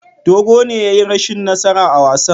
Dogo ne ya yi rashin nasara a wasan.